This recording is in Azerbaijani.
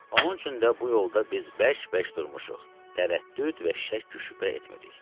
Onun üçün də bu yolda biz bərk-bərk durmuşuq, tərəddüd və şəkk-şübhə etmirik.